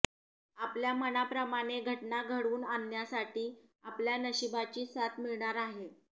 आपल्या मनाप्रमाणे घटना घडवून आणण्यासाठी आपल्या नशिबाची साथ मिळणार आहे